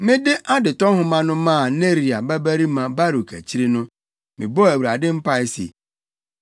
“Mede adetɔ nhoma no maa Neria babarima Baruk akyiri no, mebɔɔ Awurade mpae se,